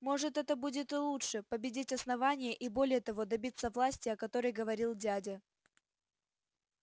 может это будет и лучше победить основание и более того добиться власти о которой говорил дядя